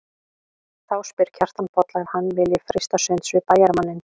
Þá spyr Kjartan Bolla ef hann vilji freista sunds við bæjarmanninn.